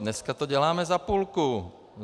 Dneska to děláme za půlku!